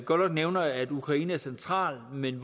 godt nok nævner at ukraine er centralt men